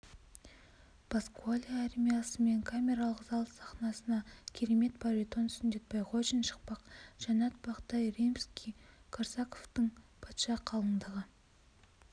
паскуале ариясымен камералық зал сахнасына керемет баритон сүндет байғожин шықпақ жаннат бақтай римский-корсаковтың патша қалыңдығы